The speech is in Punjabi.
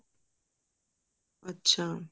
ਅੱਛਾ